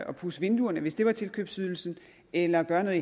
at pudse vinduerne hvis det var tilkøbsydelsen eller gøre noget